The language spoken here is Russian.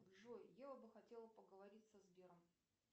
джой я бы хотела поговорить со сбером